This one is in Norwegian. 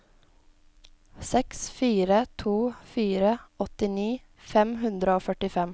seks fire to fire åttini fem hundre og førtifem